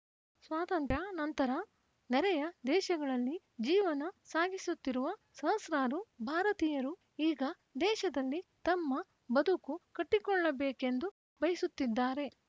ಸ್ವಾತಂತ್ರ್ಯಾನಂತರ ನೆರೆಯ ದೇಶಗಳಲ್ಲಿ ಜೀವನ ಸಾಗಿಸುತ್ತಿರುವ ಸಹಸ್ರಾರು ಭಾರತೀಯರು ಈಗ ದೇಶದಲ್ಲಿ ತಮ್ಮ ಬದುಕು ಕಟ್ಟಿಕೊಳ್ಳಬೇಕೆಂದು ಬಯಸುತ್ತಿದ್ದಾರೆ